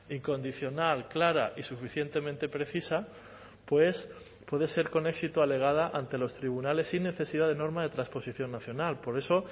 incondicional clara y suficientemente precisa pues puede ser con éxito alegada ante los tribunales sin necesidad de norma de transposición nacional por eso